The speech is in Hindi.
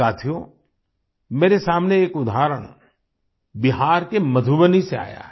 साथियो मेरे सामने एक उदाहरण बिहार के मधुबनी से आया है